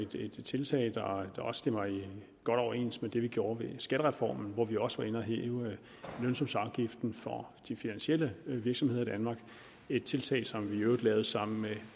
det er et tiltag der også stemmer godt overens med det vi gjorde med skattereformen hvor vi også var inde at hæve lønsumsafgiften for de finansielle virksomheder i danmark et tiltag som vi i øvrigt tog sammen med